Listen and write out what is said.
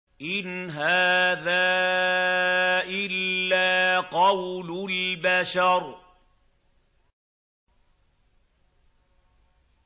إِنْ هَٰذَا إِلَّا قَوْلُ الْبَشَرِ